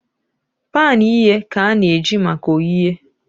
Pan ighe ka ana-eji maka oghighe